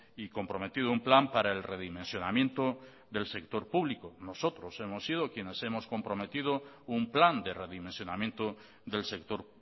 y comprometido un plan para el redimensionamiento del sector público nosotros hemos sido quienes hemos comprometido un plan de redimensionamiento del sector